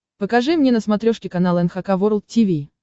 покажи мне на смотрешке канал эн эйч кей волд ти ви